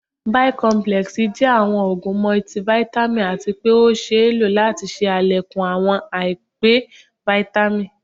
Bi complex jẹ awọn òógun multivitamin atí pé ọ ṣéé lo láti ṣe àlékún awọn àìpé Vitamin